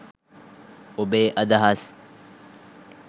ඔබේ අදහස්